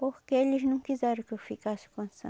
Porque eles não quiseram que eu ficasse com a